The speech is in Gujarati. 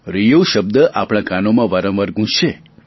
રિયો શબ્દ આપણા કાનોમાં વારંવાર ગુંજશે